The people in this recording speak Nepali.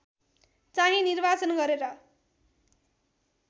चाहिँ निर्वाचन गरेर